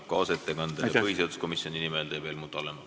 Kaasettekande põhiseaduskomisjoni nimel teeb Helmut Hallemaa.